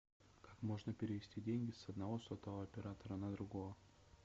как можно перевести деньги с одного сотового оператора на другого